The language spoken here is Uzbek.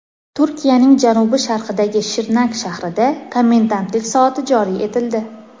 Turkiyaning janubi-sharqidagi Shirnak shahrida komendantlik soati joriy etildi.